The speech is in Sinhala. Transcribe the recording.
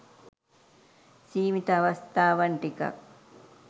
සීමිත අවස්ථාවන් ටිකක්.